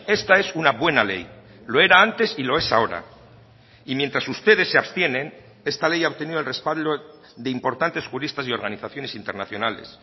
esta es una buena ley lo era antes y lo es ahora y mientras ustedes se abstienen esta ley ha obtenido el respaldo de importantes juristas y organizaciones internacionales